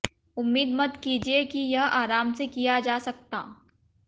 उम्मीद मत कीजिए कि यह आराम से किया जा सकता